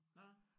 Nåh